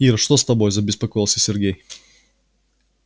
ир что с тобой забеспокоился сергей